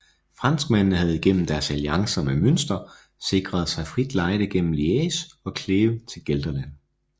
Franskmændene havde gennem deres alliancer med Münster sikret sig frit lejde gennem Liège og Kleve til Gelderland